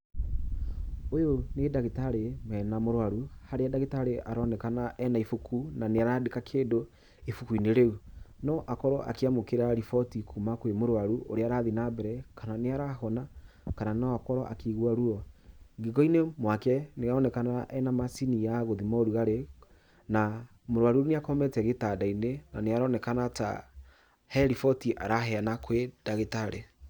Ũyu nĩ ndagĩtarĩ mena mũrwaru, harĩa ndagĩtarĩ nĩ aroneka ena ibuku na nĩrandĩka kĩndũ ibuku-inĩ rĩu. No akorwo akĩamũkĩra roboti kuuma kwĩ mũrwaru, ũrĩa arathi nambere, kana nĩ arahona, kana no akorwo akiĩgua ruo, Ngingo-inĩ mwake nĩ aroneka ena macini ya gũthima ũrugrarĩ, na mũrwaru nĩ akomete gĩtanda-inĩ na nĩaroneka hena riboti araheana kwĩ ndagĩtarĩ.